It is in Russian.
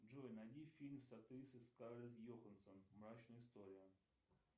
джой найди фильм с актрисой скарлетт йоханссон мрачная история